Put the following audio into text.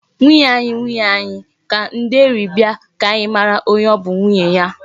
"Nwunye anyi, nwunye anyi" ka nde eri bia ka anyi mara onye o bu nwunye ya.